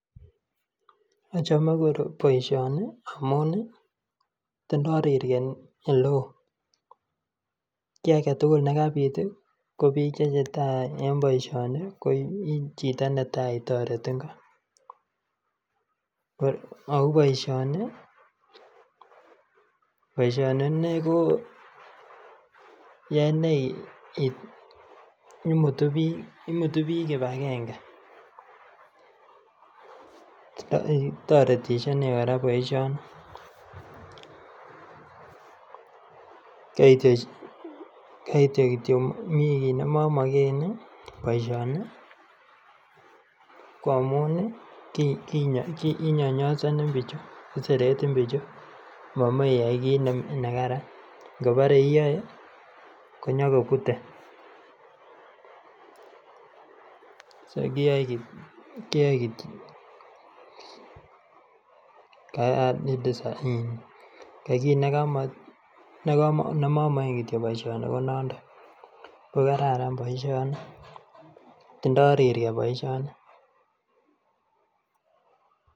Achome boisioni amun tindo rirge oleo kii age tugul nekabit ko bik Che tai en boisioni ii chito netai itoret ingo ago boisioni inei ko yaei inei imutu bik kibagenge toretisie ine kora boisioni koik Kityo mi kit nemomogen boisioni amun kinyonyosonin bichu iseretin bichu momoe iyae kit nekaran ingobore iyoe konyokobute so kiyae Kityo kit ne mamagen boisioni ko noton ko Kararan boisioni tindo rirge boisioni